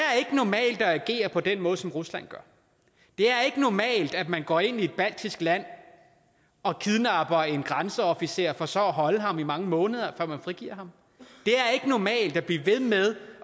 er ikke normalt at agere på den måde som rusland gør det er ikke normalt at man går ind i et baltisk land og kidnapper en grænseofficer for så at holde ham fanget i mange måneder før man frigiver ham det er ikke normalt at blive ved med